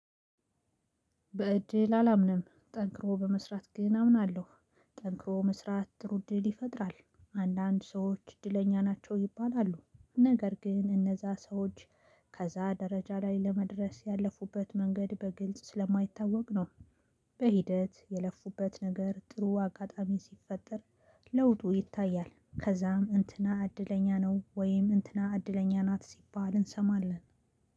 በእድል አላምንም ጠንክሮ በመስራት ግን አምናለሁ። ጠንክሮ መስራት ጥሩ እድል ይፈጥራል። አንዳንድ ሰዎች እድለኛ ናቸው ይባላሉ። ነገር ግን እነዛ ሰዎች ከዛ ደረጃ ላይ ለመድረስ ያለፉበት መንገድ በግልጽ ስለማይታወቅ ነው። በሂደት የለፉበት ነገር ጥሩ አጋጣሚ ሲፈጠር። ለውጡ ይታያል ከዛም እንትና እድለኛ ነው ወይም እንትና እድለኛ ናት ሲባል እንሰማለን